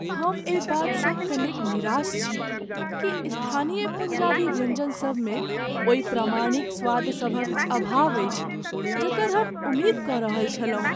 हम एहि बातसँ कनेक निराश छी कि स्थानीय पञ्जाबी व्यंजनसभमे ओहि प्रामाणिक स्वादसभक अभाव अछि जकर हम उम्मीद कऽ रहल छलहुँ।